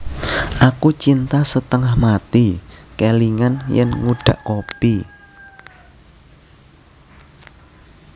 Aku cinta setengah mati kelingan yen ngudhak kopi